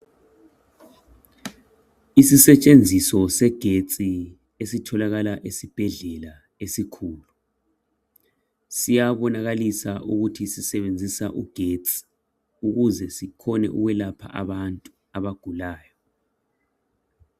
Isisetshenziso segetsi esitholakala esibhedlela esikhulu. Siyabaonakalisa ukuthi sisebenzisa ugetsi ukuze sikhone ukwelapha abantu abagulayo.